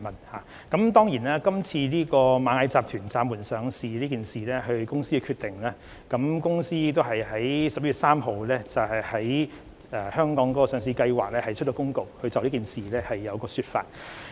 螞蟻集團今次暫緩上市是公司本身的決定，該公司亦已在11月3日就香港上市計劃發出公告，解釋事件。